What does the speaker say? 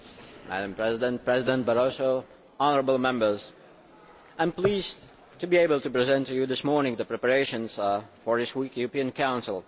Madam President, President Barroso, honourable Members, I am pleased to be able to present to you this morning the preparations for this weekly European Council.